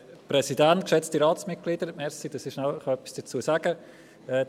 Danke, dass ich kurz etwas dazu sagen darf.